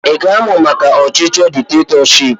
Ị ga-amụ maka ọchịchị diktetọship?